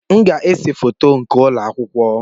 M ga-ese foto nke ụlọ akwụkwọ.